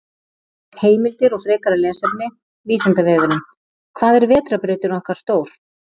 Heimildir og frekara lesefni: Vísindavefurinn: Hvað er vetrarbrautin okkar stór?